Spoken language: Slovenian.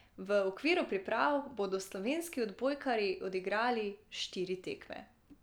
V okviru priprav bodo slovenski odbojkarji odigrali štiri tekme.